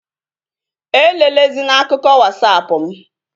E lelezina akụkọ Wasapụ mụ!